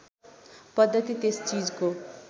पद्धति त्यस चिजको